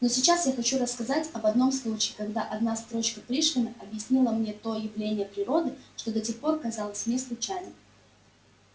но сейчас я хочу рассказать об одном случае когда одна строчка пришвина объяснила мне то явление природы что до тех пор казалось мне случайным